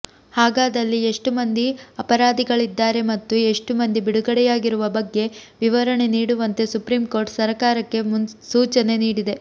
ಹಾಗಾದಲ್ಲಿ ಎಷ್ಟು ಮಂದಿ ಅಪರಾಧಿಗಳಾಗಿದ್ದಾರೆ ಮತ್ತು ಎಷ್ಟು ಮಂದಿ ಬಿಡುಗಡೆಯಾಗಿರುವ ಬಗ್ಗೆ ವಿವರಣೆ ನೀಡುವಂತೆ ಸುಪ್ರೀಂಕೋರ್ಟ್ ಸರಕಾರಕ್ಕೆ ಸೂಚನೆ ನೀಡಿದೆ